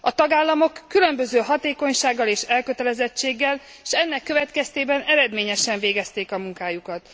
A tagállamok különböző hatékonysággal és elkötelezettséggel, s ennek következtében eredményesen végezték a munkájukat.